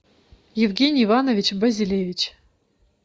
евгений иванович базилевич